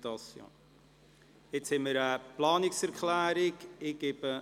Es liegt eine Planungserklärung vor.